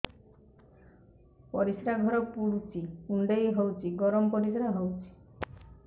ପରିସ୍ରା ଘର ପୁଡୁଚି କୁଣ୍ଡେଇ ହଉଚି ଗରମ ପରିସ୍ରା ହଉଚି